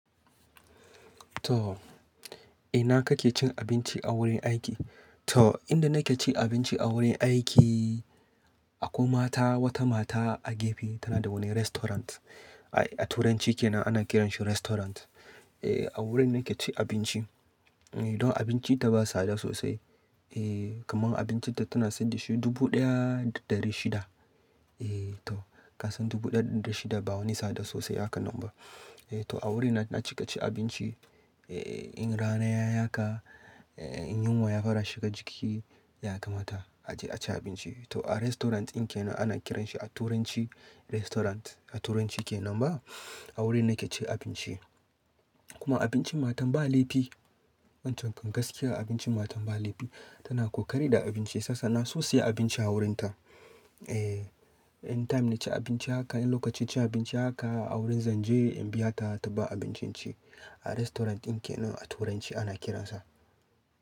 To, ina kake cin abinci a wurin aiki? To, inda nake cin abinci a wurin aiki, akwai mata wata mata a gefe tana da wani restaurant. A Turanci kenan ana kiranshi restaurant. Eh, a wurin nake cin abinci. Don abinci ta ba tsada sosai. Eh, kamar abincin ta tana sayar da shi dubu ɗaya da ɗari shida. Eh to, ka san dubu ɗaya da ɗari shida ba wani tsada sosai haka nan ba. Eh to, a wurin nake ci abinci. Eh, in rana ya haka, in yunwa ya fara shiga jiki, ya kamata a je a ci abinci. To a restaurant din kenan ana kiranshi a Turanci restaurant a Turanci kenan ba. A wurin nake cin abinci. Kuma abincin matan ba laifi. Wancan gaskiya abincin matan ba laifi. Tana kokari da abinci. Sassa na so saya abinci a wurin ta. Eh, in time na ci abinci haka, in lokacin ci abinci haka a wurin zanje in biya ta ta ba abincin ci. A restaurant din kenan a Turanci ana kiransa.